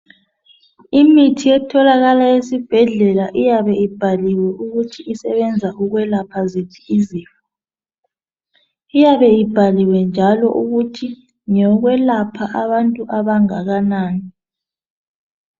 Imithi etholakala esibhedlela iyabe ibhaliwe ukuthi isebenza ukwelapha ziphi izifo. Iyabe ibhaliwe njalo ukuthi ngeyokwelapha abantu abangakanani.